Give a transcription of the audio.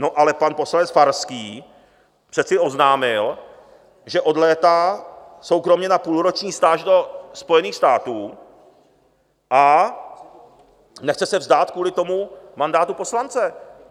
No ale pan poslanec Farský přece oznámil, že odlétá soukromě na půlroční stáž do Spojených států a nechce se vzdát kvůli tomu mandátu poslance.